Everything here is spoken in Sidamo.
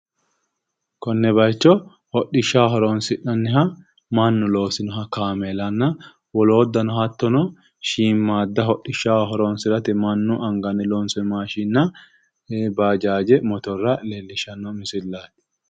Konne bayiicho hodhishshaho horonsi'nanniha mannu loosinoha kaameelanna wolooddano hattono shiimadda hidhishshaho horonsi'rate mannu anganni loonsooy maashinna baajaaje motorra leellishshanno misilati.